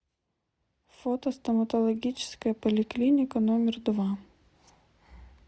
фото стоматологическая поликлиника номер два